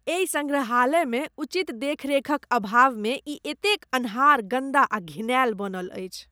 एहि सङ्ग्रहालय मे उचित देखरेखक अभाव मे ई एतेक अन्हार ,गन्दा आ घिनायल बनल अछि